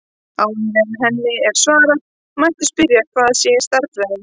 Áður en henni er svarað mætti spyrja hvað sé stærðfræði.